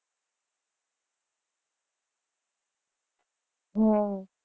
હમ